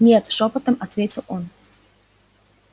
нет шёпотом ответил он